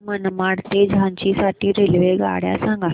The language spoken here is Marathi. मला मनमाड ते झाशी साठी रेल्वेगाड्या सांगा